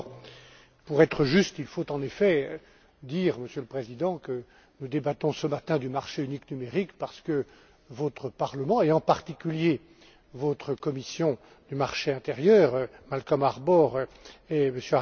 D'abord, pour être juste, il faut en effet dire, Monsieur le Président, que nous débattons ce matin du marché unique numérique parce que votre Parlement et, en particulier, votre commission du marché intérieur et de la protection des consommateurs, Malcom Harbour et M.